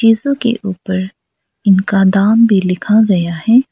के ऊपर इनका दाम भी लिखा गया है।